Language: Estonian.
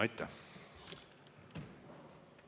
Aitäh!